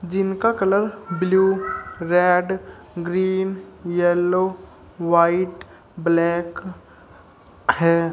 जिनका colour blue red green yellow white black है।